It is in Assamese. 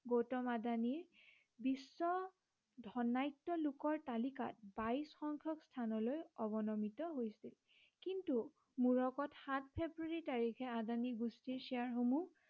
গৌতম আদানী বিশ্ব ধনাঢ্য় লোকৰ তালিকাত বাইশ সংখ্য়ক স্থানলৈ অৱনমিত হৈছিল। কিন্তু মূৰকত সাত ফেব্ৰূৱাৰী তাৰিখে আদানী গোষ্ঠীৰ শ্বেয়াৰ সমূহ